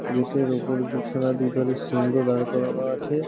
Gate -এর ওপরে দুখানা দুধারে সিংহ দাঁড় করানো আছে।